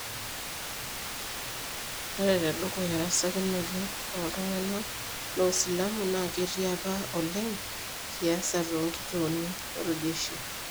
Ore tedukuya erasakinoto oltunganak losilamu naketii apa oleng kiasa tonkituoni oljeshi.